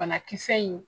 Banakisɛ in